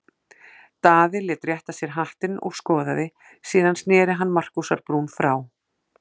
Daði lét rétta sér hattinn og skoðaði, síðan sneri hann Markúsar-Brún frá.